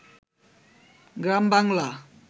গ্রামবাংলা